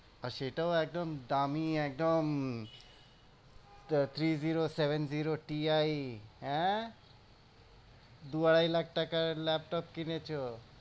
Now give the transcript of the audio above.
সেটাও একদম দামি একদম three zero seven zero TI হ্যাঁ? দু আড়াই লাখ টাকার ল্যাপটপ কিনেছো।